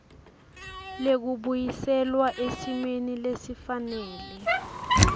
lekubuyiselwa esimeni lesifanele